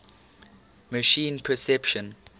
machine perception